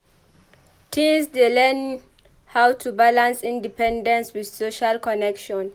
Teens dey learn how to balance independence with social connection.